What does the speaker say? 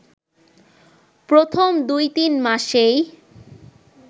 প্রথম দু-তিন মাসেই